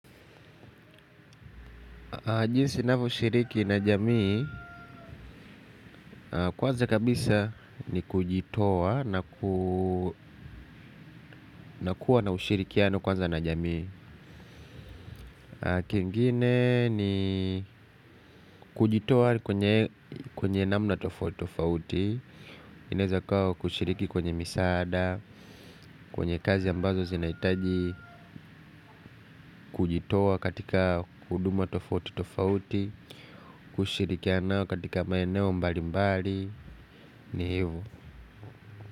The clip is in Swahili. Jinsi navyoshiriki na jamii, kwanza kabisa ni kujitoa na ku na kuwa na ushirikiano kwanza na jamii. Kingine ni kujitoa kwenye namna tofauti, inaeza kuwa kushiriki kwenye misaada, kwenye kazi ambazo zinahitaji kujitoa katika huduma tofauti tofauti, kushirikiana katika maeneo mbalimbali, ni hivyo.